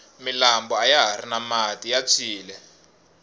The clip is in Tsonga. milambo ayahari na mati ya phyile